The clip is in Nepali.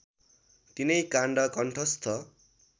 तीनै काण्ड कण्ठस्थ